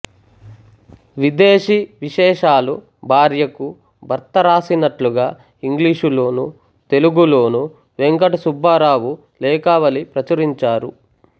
విదేశీ విశేషాలు భార్యకు భర్త రాసినట్లుగా ఇంగ్లీషులోనూ తెలుగులోనూ వేంకటసుబ్బారావు లేఖావళి ప్రచురించారు